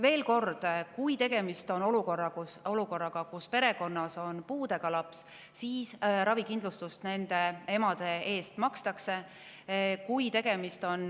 Veel kord: kui tegemist on olukorraga, kus perekonnas on puudega laps, siis makstakse ravikindlustus selle ema eest.